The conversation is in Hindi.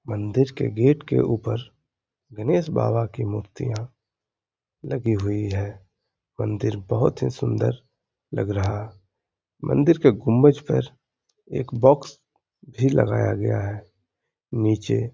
मंदिर के गेट के ऊपर गणेश बाबा की मूर्तियां लगी हुई है। मंदिर बोहोत ही सुन्दर लग रहा। मंदिर के गुम्बज पर एक बॉक्स भी लगाया गया है। नीचे --